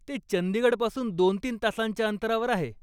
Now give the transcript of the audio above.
ते चंदीगडपासून दोन तीन तासांच्या अंतरावर आहे.